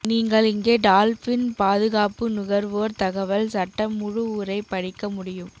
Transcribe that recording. நீங்கள் இங்கே டால்பின் பாதுகாப்பு நுகர்வோர் தகவல் சட்டம் முழு உரை படிக்க முடியும்